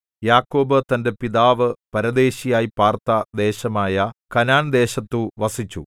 യാക്കോബ് തന്റെ പിതാവ് പരദേശിയായി പാർത്ത ദേശമായ കനാൻദേശത്തു വസിച്ചു